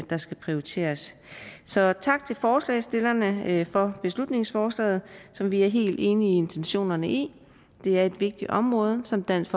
der skal prioriteres så tak til forslagsstillerne for beslutningsforslaget som vi er helt enige i intentionerne i det er et vigtigt område som dansk